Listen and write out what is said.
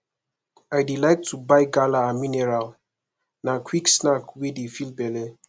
i dey like to buy gala and mineral na quick snack wey dey fill belle